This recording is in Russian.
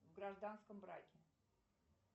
в гражданском браке